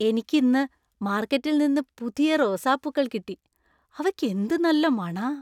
എനിക്ക് ഇന്ന് മാർക്കറ്റിൽ നിന്ന് പുതിയ റോസാപ്പൂക്കൾ കിട്ടി . അവയ്ക്ക് എന്ത് നല്ല മണാ .